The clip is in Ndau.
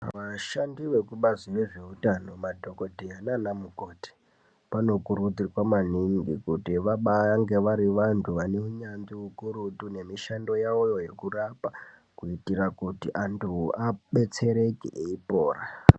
Vashandi vekubazi rezveutano madhokodheya nana mukoti vanokurudzirwa maningi kuti vabaange vari vantu vane unyazvi ukurutu nemishando yawoyo yekurapa kuitira kuti antu abetsereke eipora.